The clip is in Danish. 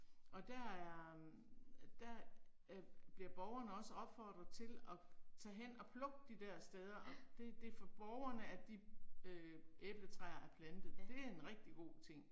Og der er, der øh bliver borgerne også opfordret til og tage hen og plukke de der steder, og det det for borgerne at de øh æbletræer er plantet, det er en rigtig god ting